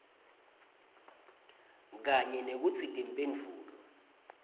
kanye nekutsi timphendvulo